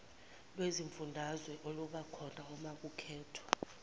lwezifundazwe olubakhona umakukhethwa